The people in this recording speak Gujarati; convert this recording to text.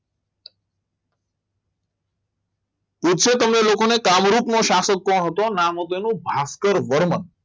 પૂછશે તમને લોકોને કામરૂ રોગનો શાસક કોણ હતો તો નામ હતું એનું ભાસ્કર વર્મા